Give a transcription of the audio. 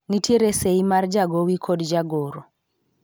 nitiere sei mar jagowi kod jagoro